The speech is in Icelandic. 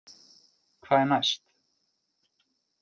Hvað er næst